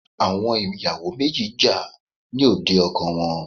Àwọn ìyàwò méjì jà ní òde ọkọ wọn.